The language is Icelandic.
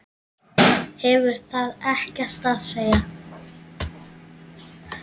Hefur það ekkert að segja?